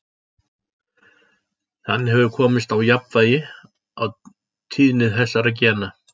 Þannig hefur komist á jafnvægi á tíðni þessara gena.